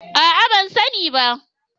A'a ban sani ba.